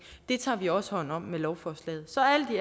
det tager vi også hånd om med lovforslaget så